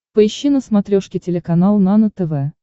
поищи на смотрешке телеканал нано тв